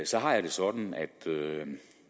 så har jeg det sådan at